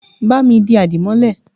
Ba mi di àdìmọ́lẹ̀!